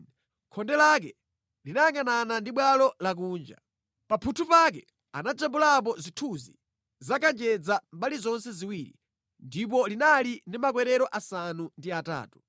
Khonde lake linayangʼanana ndi bwalo lakunja. Pa mphuthu pake anajambulapo zithunzi za kanjedza mbali zonse ziwiri, ndipo linali ndi makwerero asanu ndi atatu.